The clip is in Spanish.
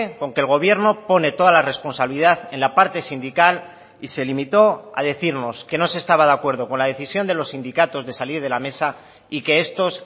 con que el gobierno pone toda la responsabilidad en la parte sindical y se limitó a decirnos que no se estaba de acuerdo con la decisión de los sindicatos de salir de la mesa y que estos